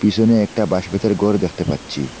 পিসনে একটা বাঁশ বেতরে গর দ্যাখতে পাচ্ছি।